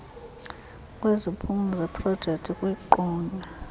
kwezindululo zeprojekthi kwiqonga